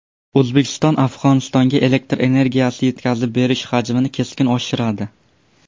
O‘zbekiston Afg‘onistonga elektr energiyasi yetkazib berish hajmini keskin oshiradi.